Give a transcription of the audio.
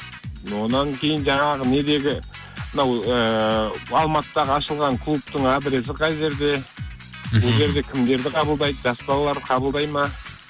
онан кейін жаңағы недегі мынау ыыы алматыдағы ашылған клубтың адресі қай жерде мхм ол жерде кімдерді қабылдайды жас балаларды қабылдай ма